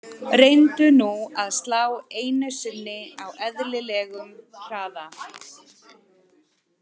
Reyndu nú að slá einu sinni á eðlilegum hraða.